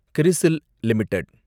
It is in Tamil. கிரிசில் லிமிடெட்